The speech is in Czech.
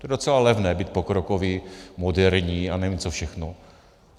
To je docela levné být pokrokoví, moderní a nevím co všechno.